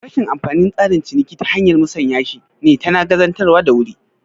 Rashin amfanin tsarin ciniki ta hanyar musanya shi ne tana gazantawa da wuri